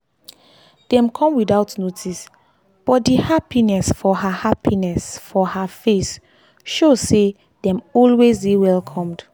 dem come without notice but di happiness for her happiness for her face show say dem always dey welcomed.